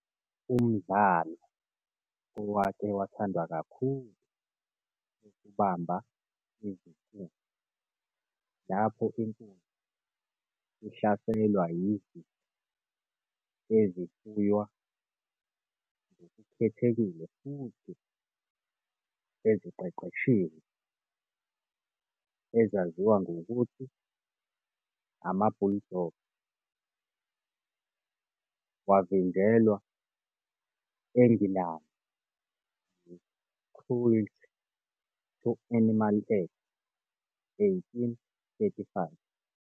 Umdlalo owake wathandwa kakhulu wokubamba izinkunzi, lapho inkunzi ihlaselwa yizinja ezifuywa ngokukhethekile futhi eziqeqeshiwe, ezaziwa ngokuthi ama-bulldogs, wavinjelwa eNgilandi yi-Cruelty to Animals Act 1835.